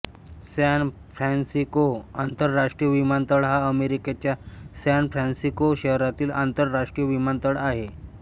San Francisco आंतरराष्ट्रीय विमानतळ हा अमेरिकेच्या सॅन फ्रान्सिस्को शहरातील आंतरराष्ट्रीय विमानतळ आहे